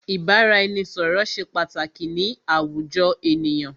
Ìbáraẹnisọ̀rọ̀ ṣé pàtàkì ni àwùjọ ènìyàn.